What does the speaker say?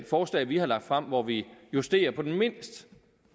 forslag vi har lagt frem hvor vi justerer på den mest